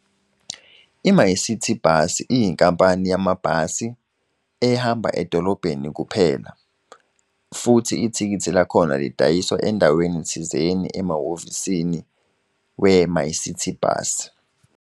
I-MyCiti Bus iyinkampani yamabhasi, ehamba edolobheni kuphela, futhi ithikithi lakhona lidayiswa endaweni thizeni emahhovisini we-MyCiti Bus.